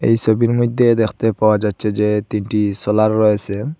এই সবির মইদ্যে দেখতে পাওয়া যাচ্ছে যে তিনটি সোলার রয়েসে